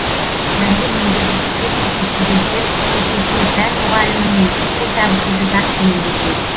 пәнді меңгергісі келмейтін студенттер есесіне пән мұғалімімен тіл табысуды жақсы меңгерген